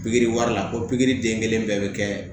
Pikiri wari la ko pikiri den kelen bɛɛ bɛ kɛ